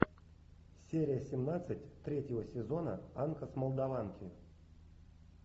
серия семнадцать третьего сезона анка с молдаванки